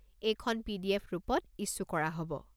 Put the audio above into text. এইখন পি.ডি.এফ. ৰূপত ইছ্যু কৰা হ'ব।